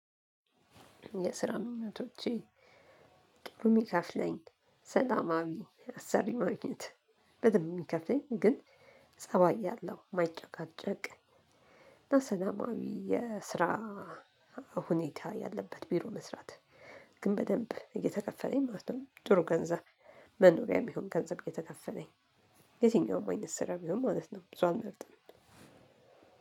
የስራን እውነቶቼ ቅርም ይከፍለኝ። ሰላማዊ አሰሪ ማግኘት በደንብ የሚከፍለኝ ግን ፀባይ ያለው ማይጨቃጨቅ እና ሰላማዊ የስራ ሁኔታ ያለበት ቢሮ መስራት ግን በደንብ እየተከፈለኝ ማለት ነው። ጥሩ ገንዘብ መኖሪያ የሚሆን ገንዘብ የተከፈለኝ የትኛውም ወይንስ ስራ ቢሆን ማለት ነው ብዙ አልመርጠም።